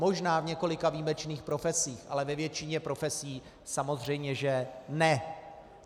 Možná v několika výjimečných profesích, ale ve většině profesí samozřejmě že ne.